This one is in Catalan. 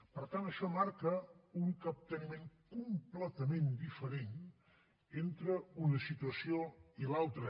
per tant això marca un capteniment completament diferent entre una situació i l’altra